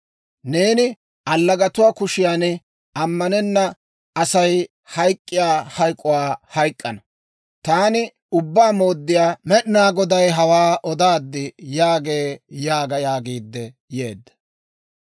Neeni allagatuwaa kushiyan ammanenna Asay hayk'k'iyaa hayk'k'uwaa hayk'k'ana. Taani Ubbaa Mooddiyaa Med'inaa Goday hawaa odaad» yaagee› yaaga» yaagiidde yeedda.